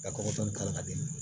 Ka kɔgɔ dɔɔnin k'a di ma